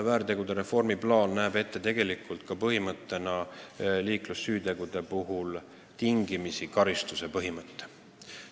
Selle reformi plaan näeb ette ka liiklussüütegude puhul tingimisi karistuse põhimõtte.